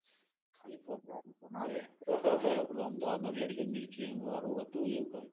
ખાલી નો આવે પેલો અમદાવાદ નો રેડીઓ મીરચી એનું હારું હતું કૈક